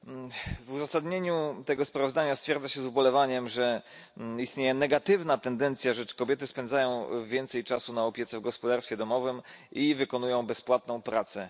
Panie Przewodniczący! W uzasadnieniu tego sprawozdania stwierdza się z ubolewaniem, że istnieje negatywna tendencja, zgodnie z którą kobiety spędzają więcej czasu na opiece w gospodarstwie domowym i wykonują bezpłatną pracę.